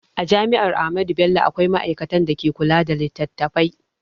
A jami'ar Ahmadu Bello akwai ma'aikatan da ke kula da littattafai